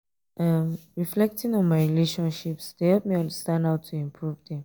um reflecting on my um relationships dey help me understand how to improve them.